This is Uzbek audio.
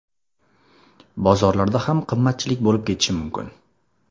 Bozorlarda ham qimmatchilik bo‘lib ketishi mumkin.